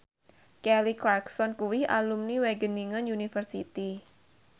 Kelly Clarkson kuwi alumni Wageningen University